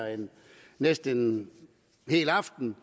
næsten en hel aften